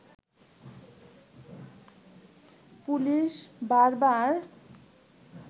police বার বার